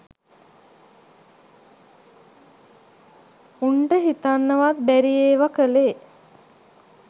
උන්ට හිතන්නවත් බැරි ඒව කලේ